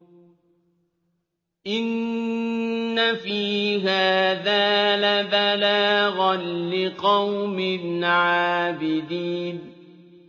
إِنَّ فِي هَٰذَا لَبَلَاغًا لِّقَوْمٍ عَابِدِينَ